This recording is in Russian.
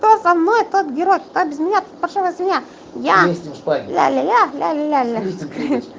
аа